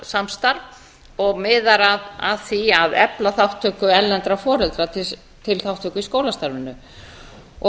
foreldrasamstarf og miðar að því að efla þátttöku erlendra foreldra til þátttöku í skólastarfinu